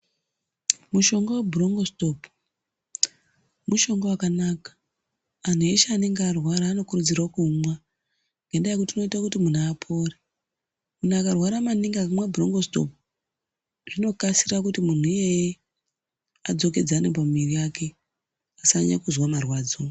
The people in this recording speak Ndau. Mushonga webhurongositopu, mushonga wakanaka. Anhu eshe anenge arwara anokurudzirwa kuumwa ngendaa yekuti unoita kuti munhu apore. Munhu akarwara maningi akamwa bhurongositopu zvinokasira kuti munhu iyeye adzokedzane pamuiri yake, asanyanya kuzwa marwadzo.